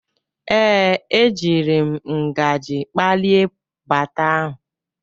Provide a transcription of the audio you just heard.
Ee, ejiri m ngaji kpalie baata ahụ.